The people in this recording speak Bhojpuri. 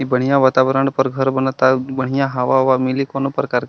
ई बढ़िया वातावरण पर घर बनता बढ़िया हवा-उवा मिली। कौनो प्रकार के --